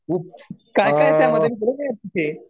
काय काय आहे त्यामध्ये